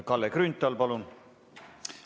Kalle Grünthal, palun!